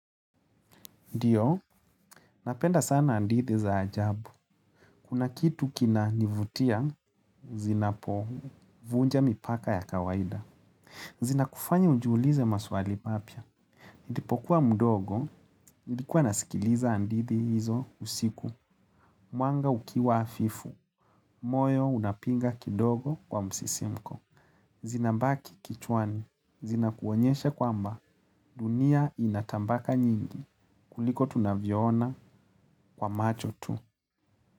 Ndiyo, napenda sana hadithi za ajabu. Kuna kitu kina nivutia, zinapovunja, mipaka ya kawaida. Zinakufanya ujiulize maswali mapya. Nilipokuwa mdogo, nilikuwa nasikiliza hadithi hizo usiku. Mwanga ukiwa hafifu, moyo unapiga kidogo kwa msisimko. Zinabaki kichwani, zinakuonyeshe kwamba dunia inatabaka nyingi kuliko tunavyoona kwa macho tu.